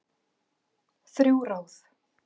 Þrjú ráð